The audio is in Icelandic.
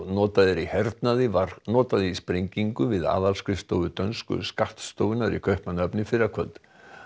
notað í hernaði var notað í sprengingu við aðalskrifstofu dönsku skattstofunnar í Kaupmannahöfn í fyrrakvöld